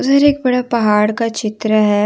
उधर एक बड़ा पहाड़ का चित्र है।